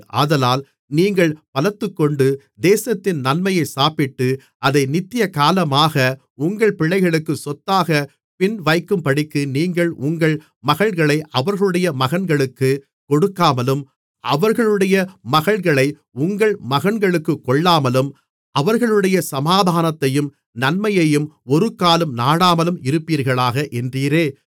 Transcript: ஆதலால் நீங்கள் பலத்துக்கொண்டு தேசத்தின் நன்மையைச் சாப்பிட்டு அதை நித்தியகாலமாக உங்கள் பிள்ளைகளுக்கு சொத்தாகப் பின்வைக்கும்படிக்கு நீங்கள் உங்கள் மகள்களை அவர்களுடைய மகன்களுக்குக் கொடுக்காமலும் அவர்களுடைய மகள்களை உங்கள் மகன்களுக்குக் கொள்ளாமலும் அவர்களுடைய சமாதானத்தையும் நன்மையையும் ஒருக்காலும் நாடாமலும் இருப்பீர்களாக என்றீரே